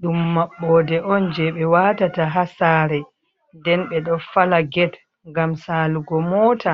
ɗum maɓɓoode on jee ɓe waqtata ha saree, nden ɓe ɗo fala get, ngam saalugo mota.